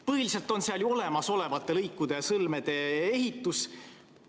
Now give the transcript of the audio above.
Põhiliselt on seal kirjas olemasolevate lõikude ja sõlmede ehitus.